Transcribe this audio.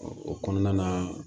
O kɔnɔna na